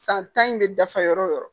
San tan in bɛ dafa yɔrɔ